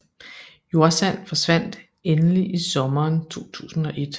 Jordsand forsvandt endelig i sommeren 2001